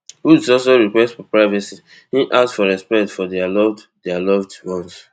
woods also request for privacy im ask for respect for dia loved dia loved ones